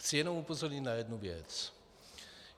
Chci jenom upozornit na jednu věc.